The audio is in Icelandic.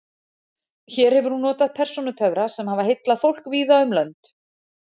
Hér hefur hún notið persónutöfra sem hafa heillað fólk víða um lönd.